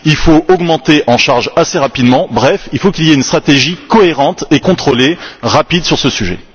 Il faut augmenter en charge assez rapidement, bref il faut qu'il y ait une stratégie cohérente et contrôlée sur ce sujet.